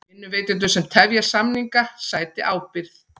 Vinnuveitendur sem tefja samninga sæti ábyrgð